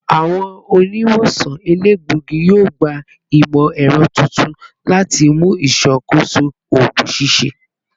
Awọn oniwosan elegbogi yoo gba imọ-ẹrọ tuntun lati mu iṣakoso oogun ṣiṣẹ